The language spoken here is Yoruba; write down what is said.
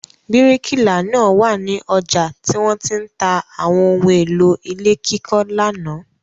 Bíríkìlà náà wà ní ọjà tí wọ́n ti ń ta àwọn ohun-èlò ilé kíkọ́ lánàá.